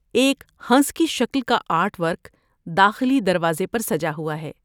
ایک ہنس کی شکل کا آرٹ ورک داخلی دروازے پر سجا ہوا ہے۔